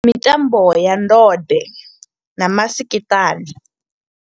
Ndi mitambo ya ndode na masikiṱana.